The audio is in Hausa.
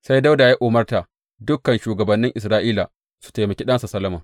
Sai Dawuda ya umarta dukan shugabannin Isra’ila su taimake ɗansa Solomon.